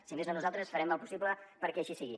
si més no nosaltres farem el possible perquè així sigui